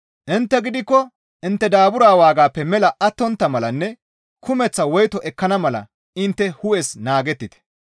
Intte gidikko intte daabura waagaappe mela attontta malanne kumeththa woyto ekkana mala intte hu7es naagettite.